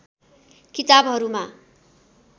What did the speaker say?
किताबहरूमा